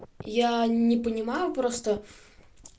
я не понимаю просто